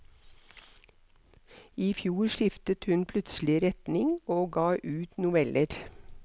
I fjor skiftet hun plutselig retning og ga ut noveller.